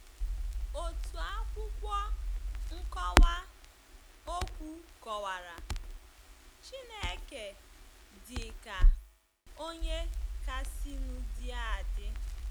Otu akwụkwọ nkọwa okwu kọwara “ Chineke ” dị ka “ onye kasịnụ dị adị .”